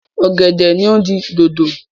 Ọ̀gẹ̀dẹ̀ ni ó di dodo.